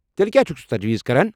تیٚلہِ کیٛاہ چھکھ ژٕ تجویز كران؟